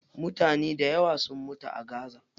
Mutane dayawa sun mutu a gaza.